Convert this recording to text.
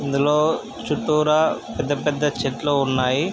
ఇందులో చుట్టూరా పెద్ద పెద్ద చెట్లు ఉన్నాయి.